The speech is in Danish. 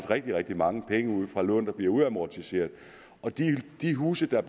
rigtig rigtig mange penge ud fra lån der bliver udamortiseret for de huse der er